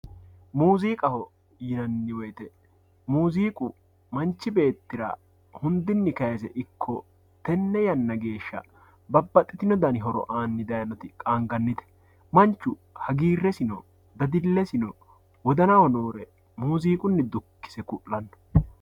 Muuzziiqqaho yinanni woyite muuzziiqqu manchi beettirra hundini kayise ikko tene yanara babaxitino dani horo aanni dayinoti qaaniganite, manchu haggiressino dadilesino wodanaho noore muuzziiqquni dukkisse ku'lanno